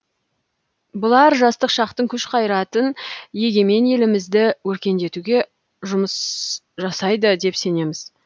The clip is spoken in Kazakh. бұлар жастық шақтың күш қайратын егемен елімізді өркендетуге жұмыс жасайды деп сенеміз